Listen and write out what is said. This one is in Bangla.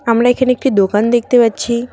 আমরা এখানে একটি দোকান দেখতে পাচ্ছি।